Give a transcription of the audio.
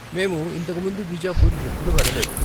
మేము ఇంతకు ముందు బీజాపూర్ ఎప్పుడూ వెళ్ళలేదు.